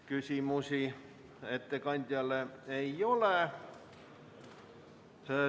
Küsimusi ettekandjale ei ole.